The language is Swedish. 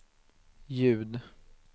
ljud